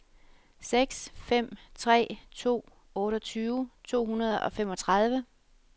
seks fem tre to otteogtyve to hundrede og femogtredive